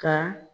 Ka